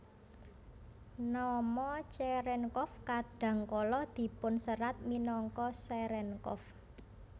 Nama Cherenkov kadang kala dipunserat minangka Cerenkov